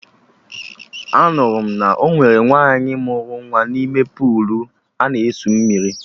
Anụrụ m na ọ nwere nwaanyị mụrụ nwa n'ime puulu ana egwu mmiri